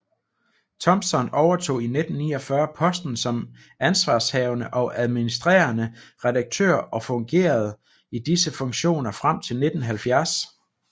Thompson overtog i 1949 posten som ansvarshavende og administrerende redaktør og fungerede i disse funktioner frem til 1970